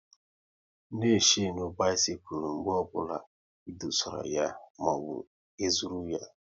Na e shenu bisikul mgbe ọbụla e dosara ya maọbụ e zụrụ ya!